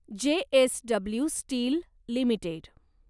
JSW steel limited